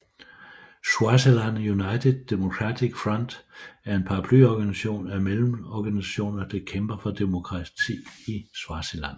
Swaziland United Democratic Front er en paraplyorganisation af medlemsorganisationer der kæmper for demokrati i Swaziland